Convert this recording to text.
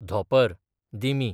धोंपर, दिमी